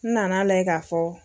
N nana layɛ ka fɔ.